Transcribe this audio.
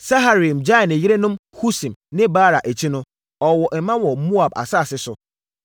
Saharaim gyaee ne yerenom Husim ne Baara akyi no, ɔwoo mma wɔ Moab asase so.